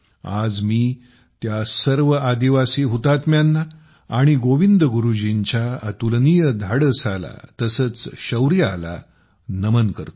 आज मी त्या सर्व आदिवासी हुतात्म्यांना आणि गोविंद गुरुजींच्या अतुलनीय धाडसाला तसेच शौर्याला नमन करतो